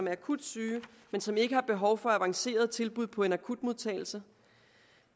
er akut syge men som ikke har behov for avancerede tilbud på en akutmodtagelse